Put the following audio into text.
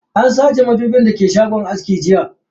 An sace madubin da ke shagon askin jiya.